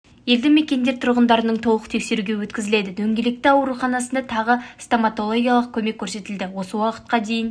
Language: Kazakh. елді мекендер тұрғындарының толық тексеру өткізіледі дөңгелекті ауруханасында тағы стоматологиялық көмек көрсетіледі осы уақытқа дейін